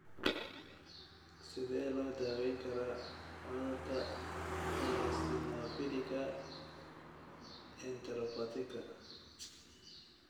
Sidee loo daweyn karaa cudurka 'eosinophilika enteropathiga'?